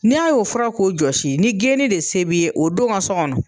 N'a y'o fɔra k'o josi, ni geni de se bi ye o don n ka so kɔnɔ.